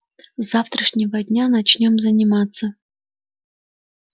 с завтрашнего дня начнём заниматься